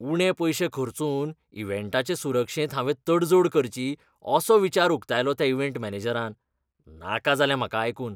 उणे पयशे खर्चून इव्हेंटाचे सुरक्षेंत हांवे तडजोड करची असो विचार उकतायलो त्या इव्हेंट मॅनेजरान. नाका जालें म्हाका आयकून!